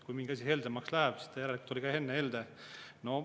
Kui mingi asi heldemaks läheb, siis ta järelikult oli ka enne helde.